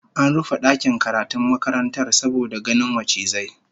An rufe dakin karatun makarantar saboda ganin macizai